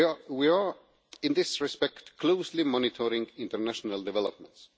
We are, in this respect, closely monitoring international developments.